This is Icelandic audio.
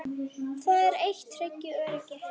Það eitt tryggir öryggi.